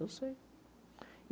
Eu sei.